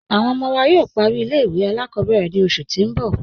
Awọn ọmọ wa yóò pàrí ilẹ̀-ìwé aláàkọ̀bẹ̀rẹ̀ ni oṣù tì n bọ̀